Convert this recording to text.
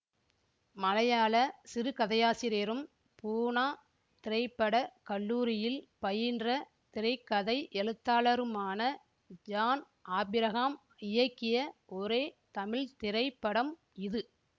மலையாள சிறுகதையாசிரியரும் பூனா திரை பட கல்லூரியில் பயின்ற திரை கதை எழுத்தாளருமான ஜான் ஆபிரஹாம் இயக்கிய ஒரே தமிழ் திரைப்படம் இது